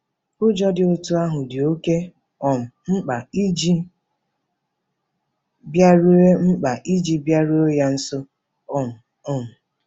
Ụjọ dị otú ahụ dị oké um mkpa iji bịaruo mkpa iji bịaruo ya nso um. um